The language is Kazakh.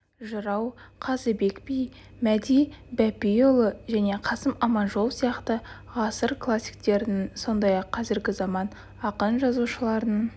жырау қазыбек би мәди бәпиұлы мен қасым аманжолов сияқты ғасыр классиктерінің сондай-ақ қазіргі заман ақын-жазушыларының